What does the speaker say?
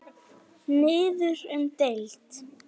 Niður um deild